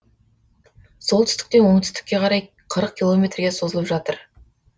солтүстіктен оңтүстікке қарай қырық километрге созылып жатыр